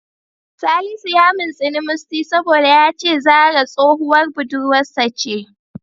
Salisu ya mintsini Musty saboda ya ce Zahra tsohuwar budurwarsa ce da.